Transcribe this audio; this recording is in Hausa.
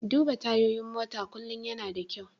Duba tayoyin mota kullum yana da kyau.